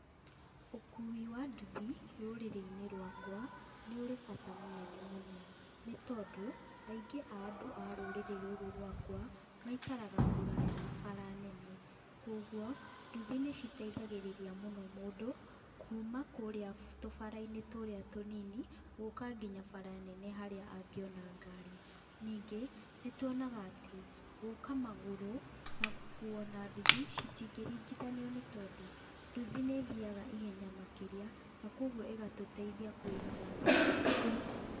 Ũkui wa nduthi rũrĩrĩ-inĩ rwaka, nĩ ũrĩ bata mũnene mũno, nĩ tondu aingĩ a andũ a rũrĩrĩ rũrũ rwaka maikaraga kũraya na bara nene, koguo nduthi nĩ citeithagĩrĩria mũno mũndũ kuma kũrĩa tũbara-inĩ tũrĩa tũnini gũka nginya bara nene harĩa angĩona gari. Ningĩ nĩ tuonaga atĩ gũka magũrũ na gũkuo na nduthi citingĩriganithio nĩ tondũ, nduthi nĩ ithiaga ihenya makĩria na koguo ĩgatũteithia kũiga mathaa.